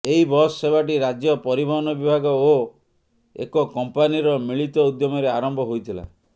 ଏହି ବସ ସେବାଟି ରାଜ୍ୟ ପରିବହନ ବିଭାଗ ଓ ଏକ କମ୍ପାନୀର ମିଳିତ ଉଦ୍ୟମରେ ଆରମ୍ଭ ହୋଇଥିଲା